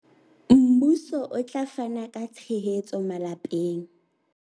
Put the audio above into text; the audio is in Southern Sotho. Mmuso o tla fana ka tshehetso malapeng